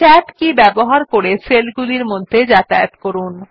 tab কী ব্যবহার করে সেলগুলির মধ্যে যাতায়াত করুন